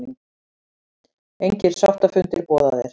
Engir sáttafundir boðaðir